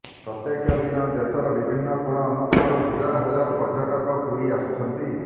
ପ୍ରତ୍ୟେକ ଦିନ ଦେଶର ବିଭନ୍ନ କୋଣ ଅନୁକୋଣରୁ ହଜାର ହଜାର ପର୍ଯ୍ୟଟକ ପୁରୀ ଆସୁଛନ୍ତି